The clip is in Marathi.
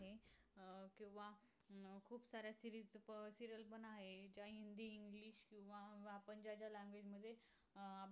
अं